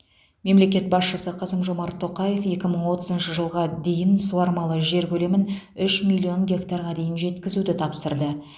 мемлекет басшысы қасым жомарт тоқаев екі мың отызыншы жылға дейін суармалы жер көлемін үш миллион гектарға дейін жеткізуді тапсырды